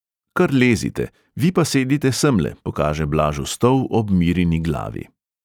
Kar lezite, vi pa sedite semle, pokaže blažu stol ob mirini glavi.